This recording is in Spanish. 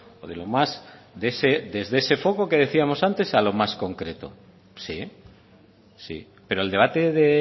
o de lo más desde ese foco que decíamos antes a lo más concreto sí sí pero el debate de